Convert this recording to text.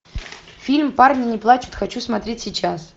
фильм парни не плачут хочу смотреть сейчас